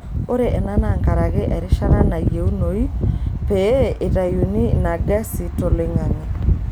Ore ena naa nkaraki erishata nayiunoi pee eitayuni ina gesi toloing'ang'e.